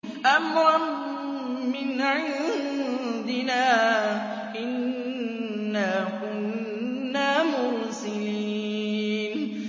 أَمْرًا مِّنْ عِندِنَا ۚ إِنَّا كُنَّا مُرْسِلِينَ